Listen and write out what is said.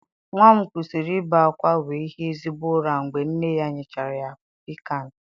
Nwa m kwụsịrị ibe akwa wee hie ezigbo ụra mgbe nne ya nyechara ya Piccan